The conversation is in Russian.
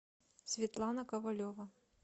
светлана ковалева